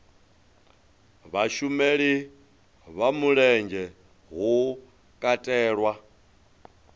vhasheli vha mulenzhe hu katelwa